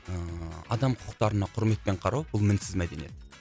ыыы адам құқықтарына құрметпен қарау бұл мінсіз мәдениет